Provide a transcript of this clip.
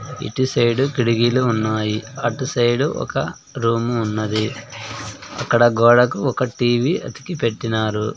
ఇటు సైడ్ కిటికీలు ఉన్నాయి అటు సైడ్ ఒక రూమ్ ఉన్నది అక్కడ గోడకు ఒక టీ_వీ అతికి పెట్టినారు.